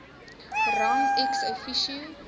rang ex officio